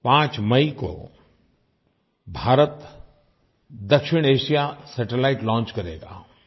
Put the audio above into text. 5 मई को भारत दक्षिणएशिया सैटेलाइट लॉन्च करेगा